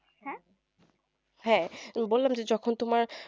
হ্যা বললাম তো যখন তুমার